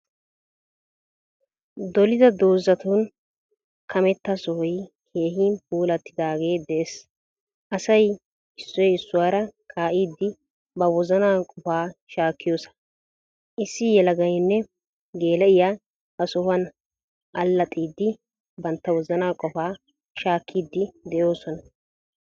Dolida dozatun kametta sohoy keehin puulaatidaagee de'ees. Asayi issoy issuwaara kaa'iiddi ba woozana qoofa shaakiyoosa. Issi yeelaaganne geela'iya ha sohuwan allaaxxiiddi bantta wozaanaa qofaa shaakkiiddi de'osona.